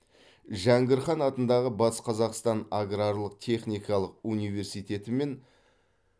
жәңгір хан атындағы батыс қазақстан аграрлық техникалық универститетімен